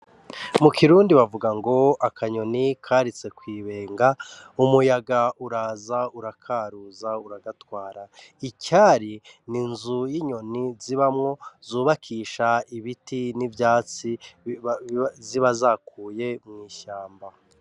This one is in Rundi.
Mu kirundi bavuga ngo akanyoni karitse kw'ibenga umuyaga uraza urakaruza uragatwara, Icari n'inzu y'inyoni zi bamwo zubakisha ibiti n'ivyatsi ziba zakuye mw'ishamba.